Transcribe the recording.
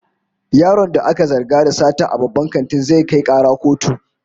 Yaron da aka zarga da sata a babban kantin, zai kai kara kotu